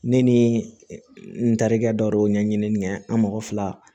Ne ni n terikɛ dɔ de don ɲɛɲini an mɔgɔ fila